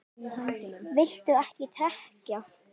Viltu ekki trekkja?